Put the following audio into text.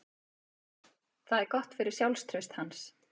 Það er gott fyrir sjálfstraust hans.